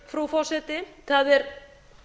frú forseti það er